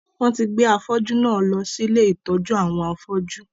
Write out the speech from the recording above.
Wọn tí gbé afọ́jú náà lọ sí ilé ìtọ́jú àwọn afọ́jú